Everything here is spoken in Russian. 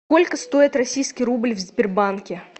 сколько стоит российский рубль в сбербанке